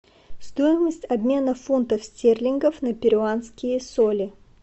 стоимость обмена фунтов стерлингов на перуанские соли